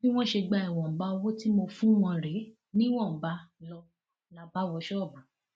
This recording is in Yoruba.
bí wọn ṣe gba ìwọnba owó tí mo fún wọn rèé ni wọn bá lọ là bá wọ ṣọọbù